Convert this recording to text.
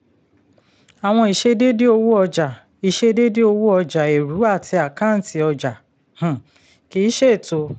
àwọn ìṣedéédé owó ọjà ìṣedéédé owó ọjà eru àti àkáǹtì ọjà um kì í ṣètò.